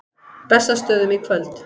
Bessastöðum í kvöld!